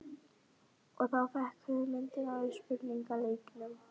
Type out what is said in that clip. Og þá fékk ég hugmyndina að spurningaleiknum.